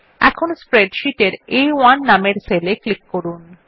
এখন স্প্রেডশীটের আ1 নামের সেলে ক্লিক করুন